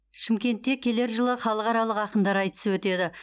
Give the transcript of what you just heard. шымкентте келер жылы халықаралық ақындар айтысы өтеді